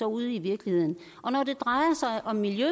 ude i virkeligheden og når det drejer sig om miljø